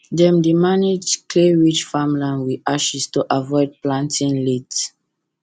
dem dey manage clayrich farmland with ashes to avoid planting late